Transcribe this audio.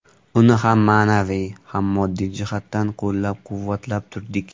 Uni ham ma’naviy, ham moddiy jihatdan qo‘llab-quvvatlab turdik.